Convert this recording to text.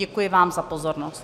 Děkuji vám za pozornost.